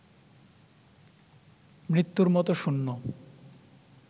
মৃত্যুর মতো শূন্য